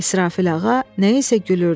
İsrafil ağa nəyinsə gülürdü.